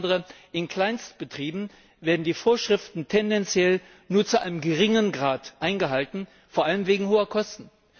Insbesondere in Kleinstbetrieben werden die Vorschriften tendenziell nur zu einem geringen Grad eingehalten, vor allem wegen hoher Kosten.